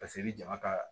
Paseke i bɛ jama ka